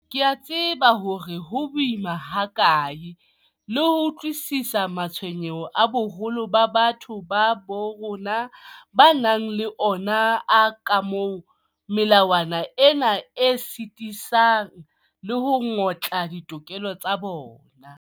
Ke a tseba hore ho boima hakae le ho utlwisisa matshwenyeho a boholo ba batho ba bo rona ba nang le ona a kamoo melawana ena e sitisang le ho ngotla ditokelo tsa bona.